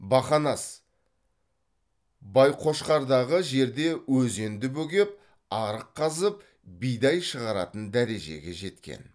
бақанас байқошқардағы жерде өзенді бөгеп арық қазып бидай шығаратын дәрежеге жеткен